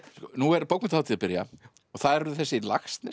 nú er bókmenntahátíð að byrja og það eru þessi